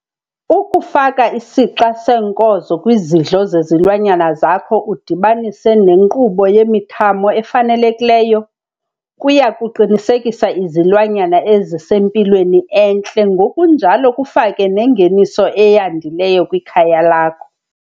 Ukufaka isixa seenkozo kwizidlo zezilwanyana zakho udibanise nenkqubo yemithamo efanelekileyo, kuya kuqinisekisa izilwanyana ezisempilweni entle ngokunjalo kufake nengeniso eyandileyo kwikhaya lakho.